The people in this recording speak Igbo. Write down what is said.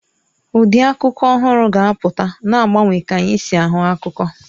Ụdị akụkọ ọhụrụ ga-apụta, na-agbanwe ka anyị si ahụ akụkọ.